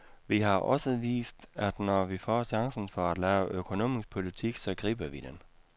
Vi har også vist, at når vi får chancen for at lave økonomisk politik, så griber vi den.